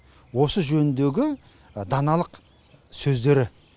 осы жөніндегі даналық сөздері